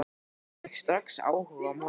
Jón fékk strax áhuga á málinu.